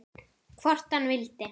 Hvort hann vildi!